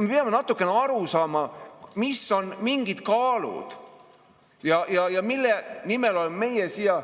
Me peame natukene aru saama, mis on mingid kaalud ja mille nimel oleme meie siia